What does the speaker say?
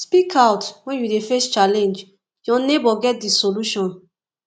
speak out when you dey face challenge your neighbour get di solution